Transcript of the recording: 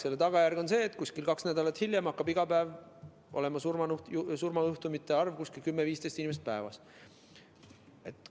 Selle tagajärg on see, et kaks nädalat hiljem hakkab iga päev olema 10–15 surmajuhtumit.